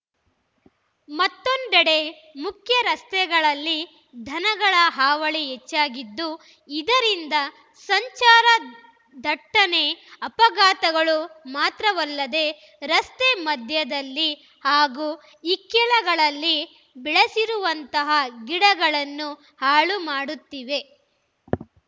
ಮತ್ತೊಂದೆಡೆ ಮುಖ್ಯರಸ್ತೆಗಳಲ್ಲಿ ದನಗಳ ಹಾವಳಿ ಹೆಚ್ಚಾಗಿದ್ದು ಇದರಿಂದ ಸಂಚಾರ ದಟ್ಟಣೆ ಅಪಘಾತಗಳು ಮಾತ್ರವಲ್ಲದೆ ರಸ್ತೆ ಮಧ್ಯದಲ್ಲಿ ಹಾಗೂ ಇಕ್ಕೆಲಗಳಲ್ಲಿ ಬೆಳೆಸಿರುವಂತಹ ಗಿಡಗಳನ್ನೂ ಹಾಳು ಮಾಡುತ್ತಿವೆ